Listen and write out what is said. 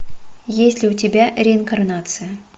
есть ли у тебя реинкарнация